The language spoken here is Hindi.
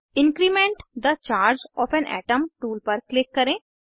increment the charge of an atom tool पर क्लिक करें